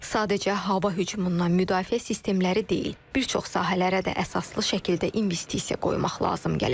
Sadəcə hava hücumundan müdafiə sistemləri deyil, bir çox sahələrə də əsaslı şəkildə investisiya qoymaq lazım gələcək.